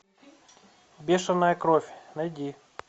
бешеная кровь найди